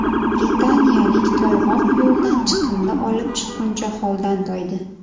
Britaniyalik toyg‘oq yo‘ldan chiqindi olib chiqquncha holdan toydi .